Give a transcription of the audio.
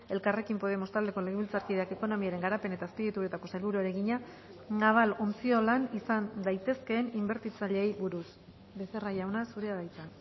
elkarrekin podemos taldeko legebiltzarkideak ekonomiaren garapen eta azpiegituretako sailburuari egina naval ontziolan izan daitezkeen inbertitzaileei buruz becerra jauna zurea da hitza